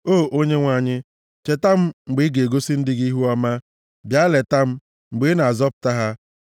O Onyenwe anyị, cheta m mgbe ị ga-egosi ndị gị ihuọma, bịa leta m, mgbe ị na-azọpụta ha,